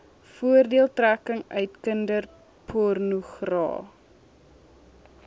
voordeeltrekking uit kinderpornogra